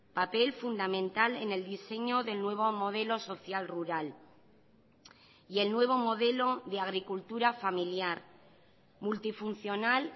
papel fundamental en el diseño del nuevo modelo social rural y el nuevo modelo de agricultura familiar multifuncional